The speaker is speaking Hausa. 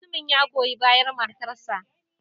Mutumin ya goyi bayar matarsa.